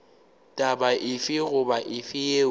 taba efe goba efe yeo